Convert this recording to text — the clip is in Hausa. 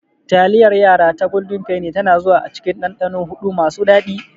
Taliyar yara ta golden Penny tana zuwa cikin dandano huɗu masu daɗi.